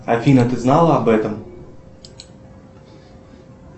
афина ты знала об этом